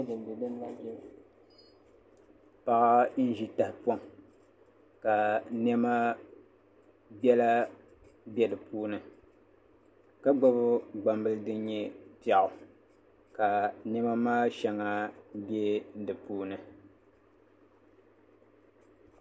Paɣa n ʒi tahapoŋ ka niɛma biɛla bɛ di puuni ka gbubi gbambili din nyɛ piɛɣu ka niɛma maa shɛŋa bɛ di puuni